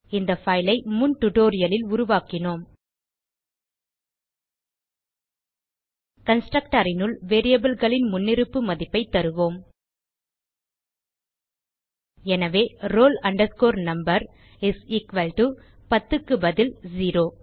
இந்த பைல் ஐ முன் டியூட்டோரியல் ல் உருவாக்கினோம் கன்ஸ்ட்ரக்டர் னுள் variableகளின் முன்னிருப்பு மதிப்பைத் தருவோம் எனவே roll number is equal to பத்துக்கு பதில் செரோ